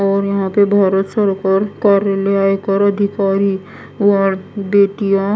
और यहां पे भारत सरकार दिखाई और बेतिया--